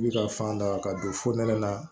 I bi ka fan da ka don fo nɛnɛ la